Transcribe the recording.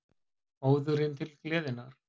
Óðurinn til gleðinnar.